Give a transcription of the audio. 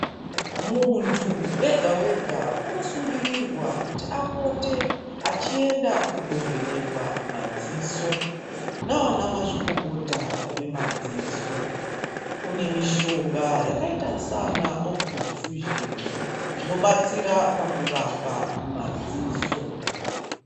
Muntu wega-wega unosungirirwa kuti apote achienda kundovenekwa madziso nana mazvikokota vemadziso. Kunemishonga yakaita saana oputivhi fiuzheni inobatsira pakurapa madziso.